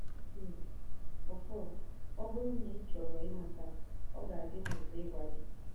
Tim: Ọfọn, ọ bụrụ na ị chọrọ ịmata, ọ ga-adị m ụtọ ịgwa gị.